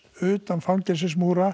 utan